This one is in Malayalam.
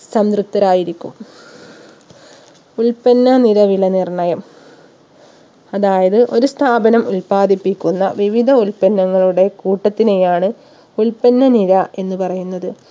സംതൃപ്തരായിരിക്കും ഉൽപ്പന്ന നിര വില നിർണയം അതായത് ഒരു സ്ഥാപനം ഉൽപ്പാദിപ്പിക്കുന്ന വിവിധ ഉൽപ്പങ്ങളുടെ കൂട്ടത്തിനെയാണ് ഉൽപ്പന്ന നിര എന്ന് പറയുന്നത്